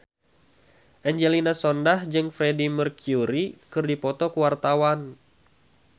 Angelina Sondakh jeung Freedie Mercury keur dipoto ku wartawan